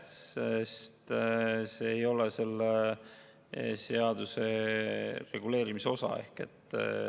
Sest see ei ole selle seaduse reguleerimisosa.